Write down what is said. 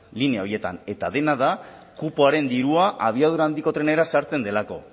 linea horietan eta dena da kupoaren dirua abiadura handiko trenera sartzen delako